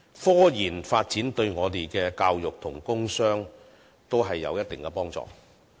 科研發展對我們的教育和工商均有一定的幫助。